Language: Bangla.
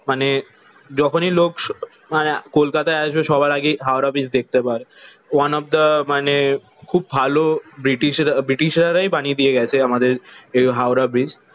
মানে যখনই লোক মানে কলকাতায় আসবে সবার আগে হাওড়া ব্রিজ দেখতে পায়। ওয়ান অফ দা মানে খুব ভালো ব্রিটিশ ব্রিটিশরারাই বানিয়ে দিয়ে গেছে আমাদের এই হাওড়া ব্রিজ।